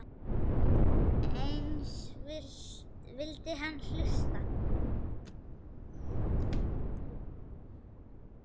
Eins vildi hann hlusta.